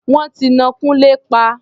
Wọ́n ti ná Kúnlé pa.